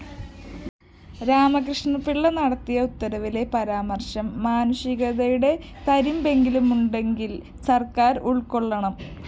രാമകൃഷ്ണപിള്ള നടത്തിയ ഉത്തരവിലെ പരാമര്‍ശം മാനുഷികതയുടെ തരിമ്പെങ്കിലുമുണ്ടെങ്കില്‍ സര്‍ക്കാര്‍ ഉള്‍ക്കൊള്ളണം